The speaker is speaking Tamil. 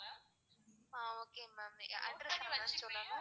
ah okay ma'am address